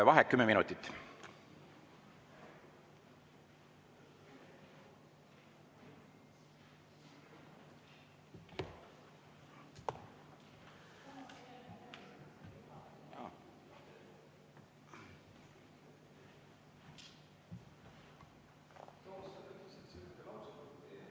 Vaheaeg kümme minutit.